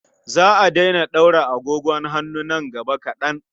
Za a daina ɗaura agogon hannu nan gaba kaɗan.